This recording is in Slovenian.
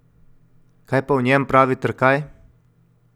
Kaj pa o njem pravi Trkaj?